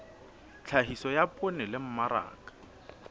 tlhahiso ya poone le mmaraka